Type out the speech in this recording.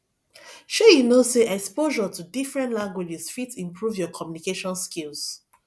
shey you know sey exposure to different languages fit improve your communication skills